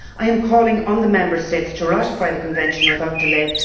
I am calling on the Member States to ratify the Convention without delay